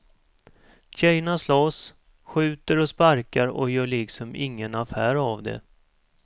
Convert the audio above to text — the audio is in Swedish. Tjejerna slåss, skjuter och sparkar och gör liksom ingen affär av det.